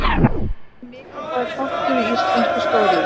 Kísill er mikilvægur þáttur í íslenskri stóriðju.